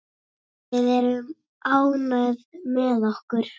Við erum ánægð með okkar.